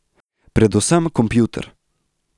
Predvsem kompjuter.